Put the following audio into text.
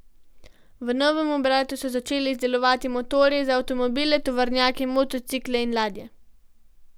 V novem obratu so začeli izdelovati motorje za avtomobile, tovornjake, motocikle in ladje.